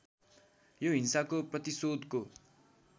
यो हिंसाको प्रतिशोधको